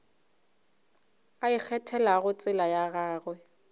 a ikgethelago tsela ya gagwe